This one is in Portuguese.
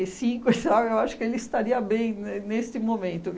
e cinco, e sabe, eu acho que ele estaria bem ne neste momento.